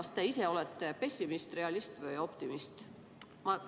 Kas te ise olete pessimist, realist või optimist?